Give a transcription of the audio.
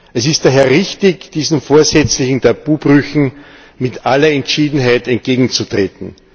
Es ist daher richtig, diesen vorsätzlichen Tabubrüchen mit aller Entschiedenheit entgegenzutreten.